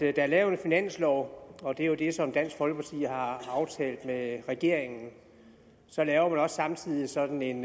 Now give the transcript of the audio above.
er lavet en finanslov og det er jo det som dansk folkeparti har aftalt med regeringen så laver man også samtidig sådan en